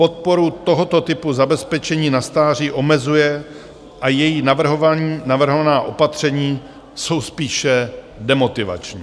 Podporu tohoto typu zabezpečení na stáří omezuje a jí navrhovaná opatření jsou spíše demotivační.